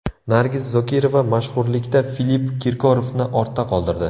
Nargiz Zokirova mashhurlikda Filipp Kirkorovni ortda qoldirdi.